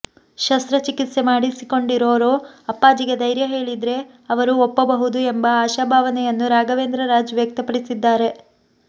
ಶಸ್ತ್ರಚಿಕಿತ್ಸೆ ಮಾಡಿಸಿಕೊಂಡಿರೋರು ಅಪ್ಪಾಜಿಗೆ ಧೈರ್ಯ ಹೇಳಿದ್ರೆ ಅವರು ಒಪ್ಪಬಹುದು ಎಂಬ ಆಶಾಭಾವನೆಯನ್ನು ರಾಘವೇಂದ್ರ ರಾಜ್ ವ್ಯಕ್ತಪಡಿಸಿದ್ದಾರೆ